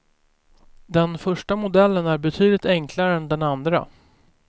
Den första modellen är betydligt enklare än den andra.